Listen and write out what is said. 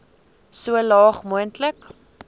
so laag moontlik